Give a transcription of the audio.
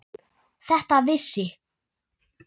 Þetta vissi